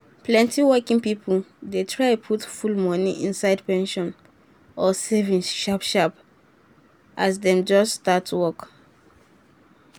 plenty working people dey try put full money inside pension or savings sharp sharp as dem just start work.